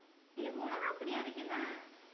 இல்ல மொளகா பொடி அரைக்கத்தான்